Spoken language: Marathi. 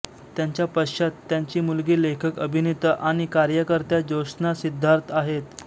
त्यांच्या पश्चात त्यांची मुलगी लेखक अभिनेता आणि कार्यकर्त्या ज्योत्स्ना सिद्धार्थ आहेत